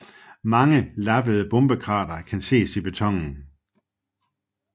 Mange lappede bombekrater kan ses i betonen